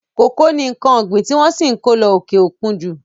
Kòkó ni nǹkan ọ̀gbin tí wọ́n ṣì ǹ kó lọ òkè òkun ju.